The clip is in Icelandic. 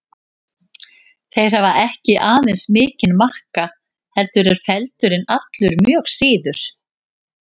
Þeir hafa ekki aðeins mikinn makka heldur eru feldurinn allur mjög síður.